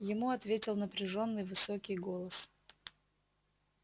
ему ответил напряжённый высокий голос